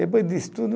Depois do estudo